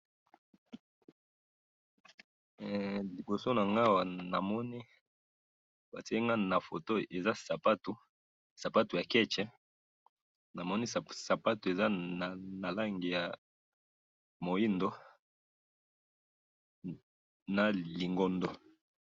Ee! Liboso nanga awa namoni, batyelinga nafoto, eza sapatu, sapatu ya ketsh, namoni sapatu eza nalangi ya mwindu na lingondo.